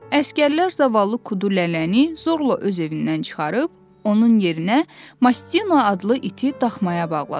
Əsgərlər zavallı Kudu Lələni zorla öz evindən çıxarıb, onun yerinə Mastino adlı iti daxmaya bağladılar.